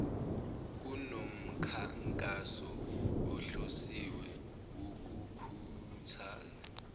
kunomkhankaso ohlosiwe wokukhuthaza